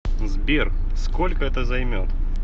сбер сколько это займет